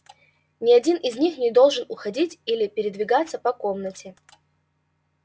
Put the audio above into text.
ни один из них не должен уходить или передвигаться по комнате